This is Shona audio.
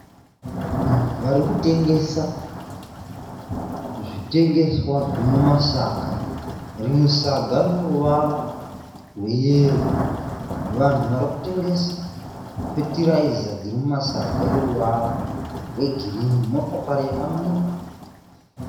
Vari kutengesa zvitengeswa zviri mumasaga. Rimwe saga rino ruvara rweyero. Vanhu vanhu vari kutengesa feteraiza dziri mumasaga eruvara rwegirini motokari yakamira.